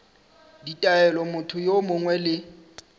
ditaelo motho yo mongwe le